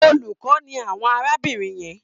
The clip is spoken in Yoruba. Olùkọ́ ni àwọn arábìnrin yẹn.